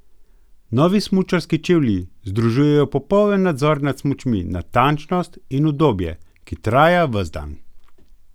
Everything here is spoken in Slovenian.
Novi smučarski čevlji združujejo popoln nadzor nad smučmi, natančnost in udobje, ki traja ves dan!